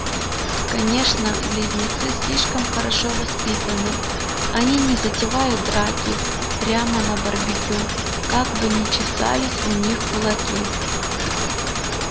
конечно близнецы слишком хорошо воспитаны они не затевают драки прямо на барбекю как бы ни чесались у них кулаки